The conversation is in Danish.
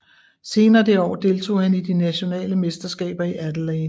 Senere det år deltog han i de nationale mesterskaber i Adelaide